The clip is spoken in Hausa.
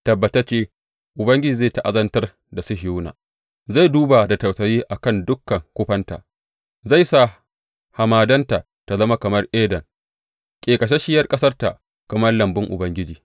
Tabbatacce Ubangiji zai ta’azantar da Sihiyona zai kuma duba da tausayi a kan dukan kufanta; zai sa hamadanta ta zama kamar Eden, ƙeƙasasshiyar ƙasarta kamar lambun Ubangiji.